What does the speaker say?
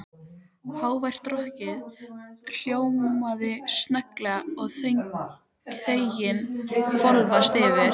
Hávært rokkið hljóðnaði snögglega og þögnin hvolfdist yfir.